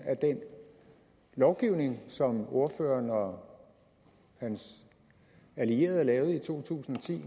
af den lovgivning som ordføreren og hans allierede lavede i to tusind og ti